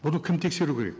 бұны кім тексеру керек